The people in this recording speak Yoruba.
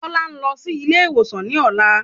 Kọ́lá ń lọ sí ilé ìwòsan ní ọ̀la.